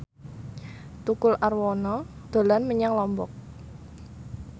Tukul Arwana dolan menyang Lombok